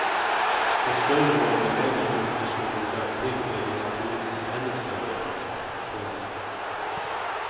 För större lån med längre återstående löptid blir det naturligtvis ännu större effekt. punkt